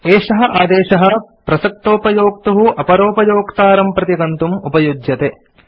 एषः आदेशः प्रसक्तोपयोक्तुः अपरोपयोक्तारं प्रति गन्तुम् उपयुज्यते